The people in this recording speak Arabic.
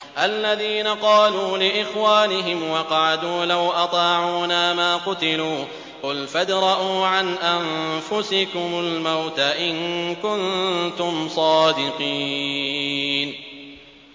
الَّذِينَ قَالُوا لِإِخْوَانِهِمْ وَقَعَدُوا لَوْ أَطَاعُونَا مَا قُتِلُوا ۗ قُلْ فَادْرَءُوا عَنْ أَنفُسِكُمُ الْمَوْتَ إِن كُنتُمْ صَادِقِينَ